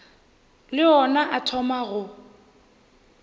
le ona a thoma go